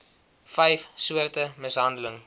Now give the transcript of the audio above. vyf soorte mishandeling